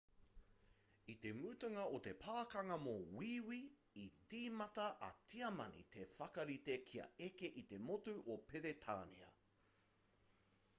i te mutunga o te pakanga mō wīwī i tīmata a tiamani te whakarite kia eke i te motu o peretānia